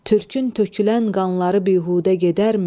Türkün tökülən qanları bihudə gedərmi?